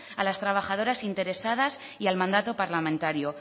a las trabajadoras interesadas y al mandato parlamentario